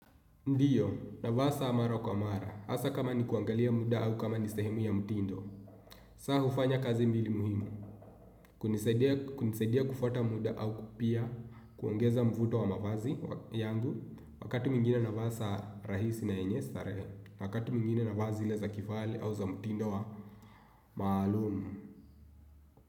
Ndiyo, navaa saa mara kwa mara. Hasa kama ni kuangalia muda au kama ni sehemu ya mtindo. Saa hufanya kazi mbili muhimu. Kunisaidia kufata muda au pia kuongeza mvuto wa mavazi yangu. Wakati mwingine na vaa saa rahisi na yenye starehe. Wakati mwingine na vaa zile za kivale au za mtindo wa maalumu.